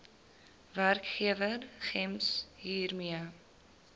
werkgewer gems hiermee